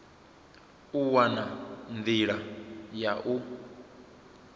u wana nḓila ya u